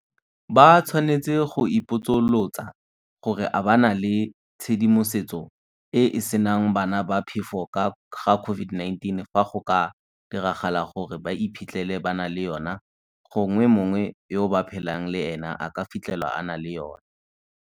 Ba tshwanetse go ipotsolotsa gore a ba na le tshedimosetso e e senang bana ba phefo ka ga COVID -19 fa go ka diragala gore ba iphitlhele ba na le yona gongwe mongwe yo ba phelang le ena a ka fitlhelwa a na le yona.